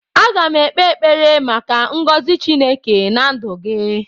Aga m ekpe ekpere maka ngọzị Chineke na ndụ gị